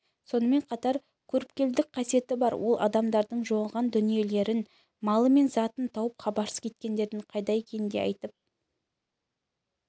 сонымен қатар көріпкелдік қасиеті бар ол адамдардың жоғалған дүниелерін малы мен затын тауып хабарсыз кеткендердің қайда екенін де айтып